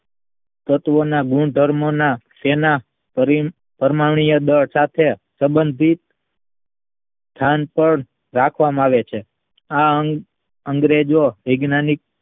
તત્વોના ગુણધર્મોના પરમાણ્વીય દળ સાથે સબંધિત ધ્યાન સાર રાખવામાં આવે છે આ અંગ્રેજો વૈજ્ઞાનિક